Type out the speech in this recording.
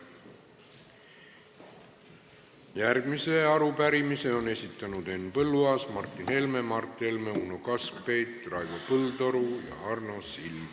Järgmise arupärimise on esitanud Henn Põlluaas, Martin Helme, Mart Helme, Uno Kaskpeit, Raivo Põldaru ja Arno Sild.